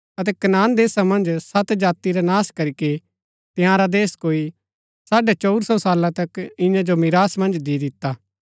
अतै कनान देशा मन्ज सत जाति रा नाश करीके तंयारा देश कोई साढ़ै चंऊर सौ साला तक इन्या जो मीरास मन्ज दि दिता